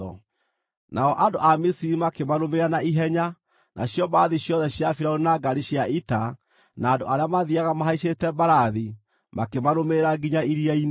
Nao andũ a Misiri makĩmarũmĩrĩra na ihenya, nacio mbarathi ciothe cia Firaũni na ngaari cia ita, na andũ arĩa mathiiaga mahaicĩte mbarathi makĩmarũmĩrĩra nginya iria-inĩ.